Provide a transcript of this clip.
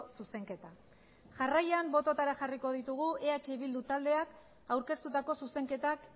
zuzenketa jarraian bototara jarriko ditugu eh bildu taldeak aurkeztutako zuzenketak